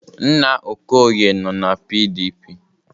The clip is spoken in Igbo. Nna Okoye nọ na PDP.